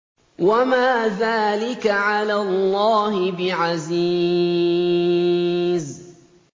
وَمَا ذَٰلِكَ عَلَى اللَّهِ بِعَزِيزٍ